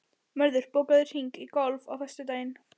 Mörður, bókaðu hring í golf á föstudaginn.